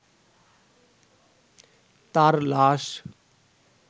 তাঁর লাশ